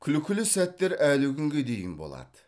күлкілі сәттер әлі күнге дейін болады